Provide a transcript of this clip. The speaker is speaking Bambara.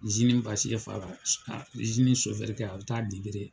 basi yɛ fa la , kɛ a be taa dentere.